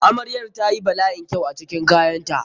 Amrayar ta yi bala'in kyau a cikin kayanta.